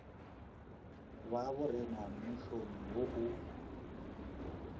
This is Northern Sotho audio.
ba borena mmušong wo o